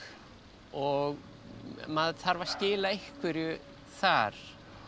og maður þarf að skila einhverju þar